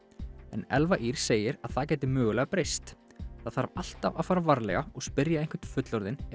en Elfa Ýr segir að það gæti mögulega breyst það þarf alltaf að fara varlega og spyrja einhvern fullorðinn ef